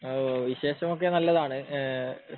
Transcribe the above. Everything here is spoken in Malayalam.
അഹ് വിശേഷമൊക്കെ നല്ലതാണ് ഏഹ്